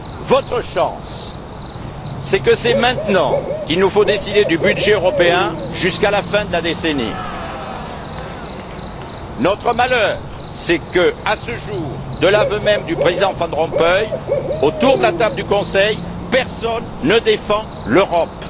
Votre chance, c'est que c'est maintenant que nous devons décider du budget européen jusqu'à la fin de la décennie. Notre malheur, c'est que, à ce jour, de l'aveu même du Président Van Rompuy, autour de la table du Conseil, personne ne défend l'Europe.